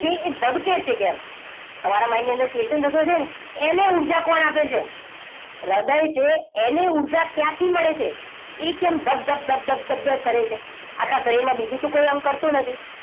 એ ધબકે છે કેમ? તમારા mind ની અંદર question થતો હશે ને! એને ઉર્જા કોણ આપે છે? હૃદય છે એને ઉર્જા ક્યાંથી મળે છે? એ કેમ ધબ ધબ ધબ ધબ ધબ કરે છે? આખા શરીરમાં બીજું કોઈ અંગ તો કરતું નથી.